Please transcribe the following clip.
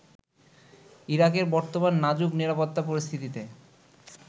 ইরাকের বর্তমান নাজুক নিরাপত্তা পরিস্থিতিতে